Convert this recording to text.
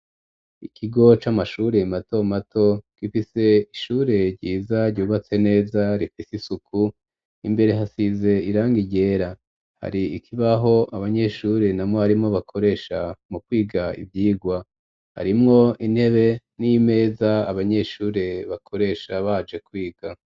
Ikigo c'amashure mato mato gifise ishure ryiza ryubatse neza rifise isuku imbere hasize irangi ryera hari ikibaho abanyeshure na mwrimu bakoresha mu kwiga ivyigwa harimwo intebe n'imeza abanyeshure bakoresha baje kwiga.